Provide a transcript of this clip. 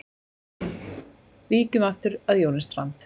Víkjum aftur að Jóni Strand.